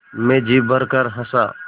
मैं जी भरकर हँसा